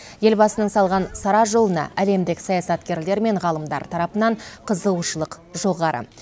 елбасының салған сара жолына әлемдік саясаткерлер мен ғалымдар тарапынан қызығушылық жоғары